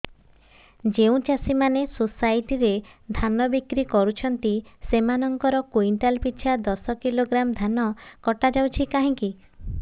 ଯେଉଁ ଚାଷୀ ମାନେ ସୋସାଇଟି ରେ ଧାନ ବିକ୍ରି କରୁଛନ୍ତି ସେମାନଙ୍କର କୁଇଣ୍ଟାଲ ପିଛା ଦଶ କିଲୋଗ୍ରାମ ଧାନ କଟା ଯାଉଛି କାହିଁକି